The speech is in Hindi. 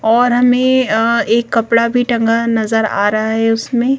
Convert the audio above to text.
और हमें अ एक कपड़ा भी टंगा नजर आ रहा है उसमें--